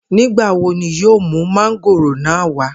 Nigbawo ni yoo mu mángóòrò naa wa?